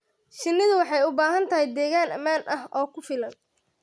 Shinnidu waxay u baahan tahay deegaan ammaan ah oo ku filan.